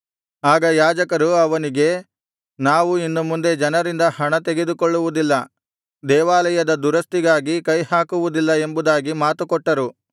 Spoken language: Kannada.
ಆಗ ಯಾಜಕರು ಅವನಿಗೆ ನಾವು ಇನ್ನು ಮುಂದೆ ಜನರಿಂದ ಹಣ ತೆಗೆದುಕೊಳ್ಳುವುದಿಲ್ಲ ದೇವಾಲಯದ ದುರಸ್ತಿಗಾಗಿ ಕೈಹಾಕುವುದಿಲ್ಲ ಎಂಬುದಾಗಿ ಮಾತುಕೊಟ್ಟರು